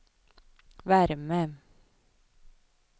värme